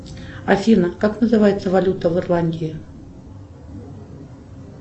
афина как называется валюта в ирландии